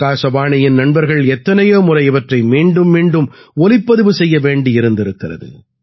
ஆகாசவாணியின் நண்பர்கள் எத்தனையோ முறை இவற்றை மீண்டும் மீண்டும் ஒலிப்பதிவு செய்ய வேண்டியிருந்திருக்கிறது